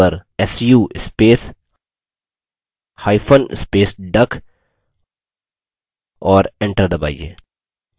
terminal पर su space hyphen space duck और enter दबाइए